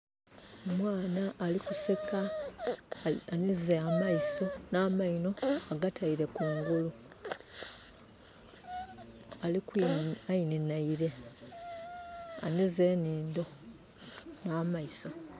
Omwana ali kuseka, anhize amaiso nh'amainho agataile kungulu. Ainhinhaile, anhize enhindho nh'amaiso.